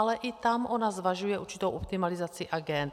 Ale i tam ona zvažuje určitou optimalizaci agend.